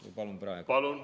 Või palun praegu?